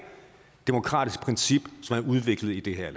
demokratisk princip som er udviklet i det her